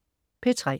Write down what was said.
P3: